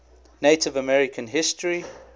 native american history